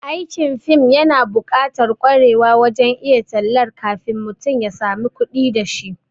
Aikin fim yana bukatar kwarewa wajen iya tallatar kafin mutum ya samun kudi dashi